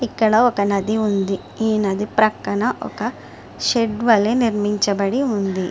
ఇక్కడ ఒక నది ఉంది. ఈ నది ప్రకన్నా ఒక షెడ్ వాలే నిర్మించబడి ఉంది .